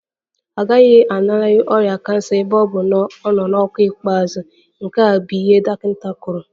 Ọ gaghị alanarị ọrịa kansa ebe ọ bụ na ọ nọ n'ọkwa ikpeazụ, nke a bụ ihe dọkịta kwuru